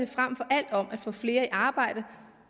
frem for alt om at få flere i arbejde